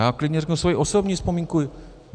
Já klidně řeknu svoji osobní vzpomínku.